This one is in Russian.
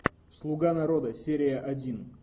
слуга народа серия один